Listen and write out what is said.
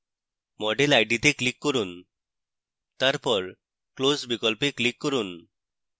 model id তে click করুন তারপর close বিকল্পে click করুন